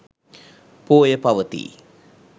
පෝය පවතී.